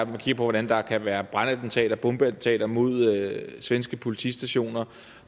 man kigger hvordan der kan være brændtattentater bombeattentater mod svenske politistationer